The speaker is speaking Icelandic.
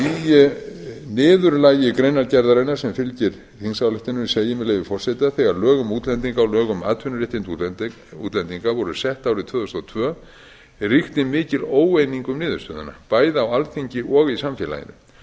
í niðurlagi greinargerðarinnar sem fylgir þingsályktuninni segir með leyfi forseta þegar lög um útlendinga og lög um atvinnuréttindi útlendinga voru sett árið tvö þúsund og tvö ríkti mikil óeining um niðurstöðuna bæði á alþingi og í samfélaginu